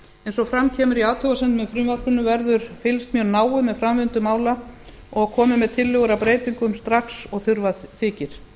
eins og fram kemur í athugasemdum með frumvarpinu verður fylgst mjög náið með framvindu mála og komið með tillögur að breytingum strax og þurfa þykir